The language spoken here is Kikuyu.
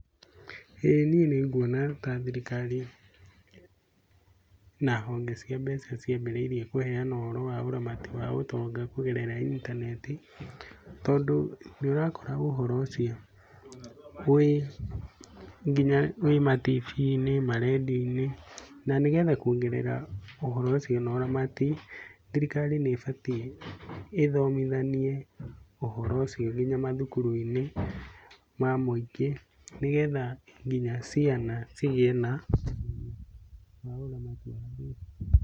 ĩĩ niĩ nĩ nguona ta thirikari na honge cia mbeca ciambĩrĩirie kũheana ũhoro wa ũramati wa ũtonga kũgerera intaneti. Tondũ nĩ ũrakora ũhoro ũcio wĩ nginya wĩ matibi-inĩ, marendio-inĩ. Na nĩ getha kuongera ũhoro ũcio na ũramati, thirikari nĩ ĩbatii ithomithanie ũhoro ũcio nginya macukuru-inĩ ma mũingĩ nĩ getha nginya ciana cigĩe na ũmenyo wa ũramati wa mbeca.